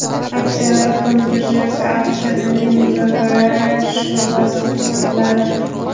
Aksiyalar fond birjasi auksionining muzokaralar sho‘basida sotiladi.